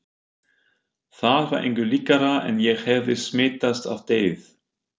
Það var engu líkara en ég hefði smitast af deyfð